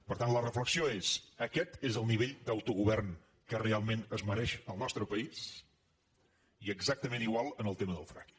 per tant la reflexió és aquest és el nivell d’autogovern que realment es mereix el nostre país i exactament igual en el tema del fracking